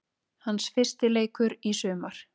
Hans fyrsti leikur í sumar